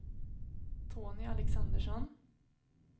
Tony Alexandersson